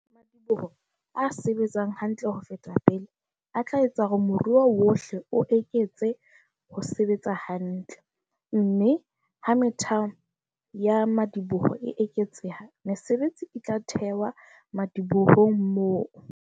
Madiboho a se-betsang hantle ho feta pele a tla etsa hore moruo wohle o eketse ho sebetsa hantle. Mme ha methamo ya madi-boho e eketseha, mesebetsi e tla thewa madibohong moo.